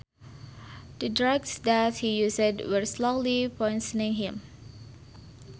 The drugs that he used were slowly poisoning him